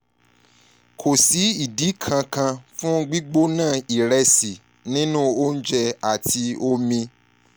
kò sí ìdí kankan fún gbígbóná ìrẹsì nínú oúnjẹ àti omi